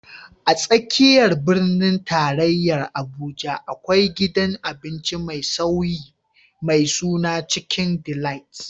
A tsakiyar birnin tarayya Abuja, akwai gidan abinci mai sauri mai suna Chicken Delight.